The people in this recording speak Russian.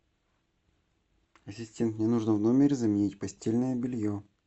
ассистент мне нужно в номере заменить постельное белье